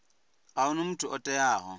a huna muthu o teaho